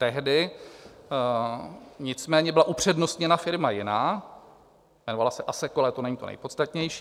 Tehdy nicméně byla upřednostněna firma jiná, jmenovala se ASEKOL, ale to není to nejpodstatnější.